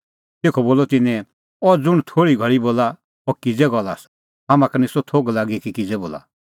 तेखअ बोलअ तिन्नैं अह ज़ुंण थोल़ी घल़ी बोला अह किज़ै गल्ल आसा हाम्हां का निस्सअ थोघ लागी किज़ै बोला